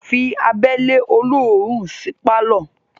Fí abẹ́lẹ́ olóòórún sí pálọ̀